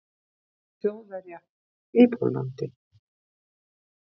Þjóðverja í Pólland.